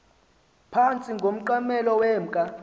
phantsi komqamelo wemka